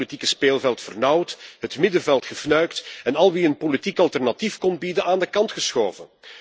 Hij heeft het politieke speelveld vernauwd, het middenveld gefnuikt en al wie een politiek alternatief kon bieden aan de kant geschoven.